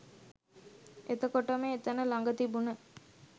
එතකොටම එතන ළග තිබුණ